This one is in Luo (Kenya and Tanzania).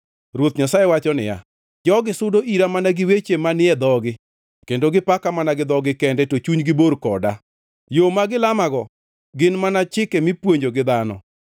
Ruoth Nyasaye wacho niya: Jogi sudo ira mana gi weche manie dhogi kendo gipaka mana gi dhogi kende, to chunygi bor koda. Yo ma gilamago gin mana chike mipuonjo gi dhano.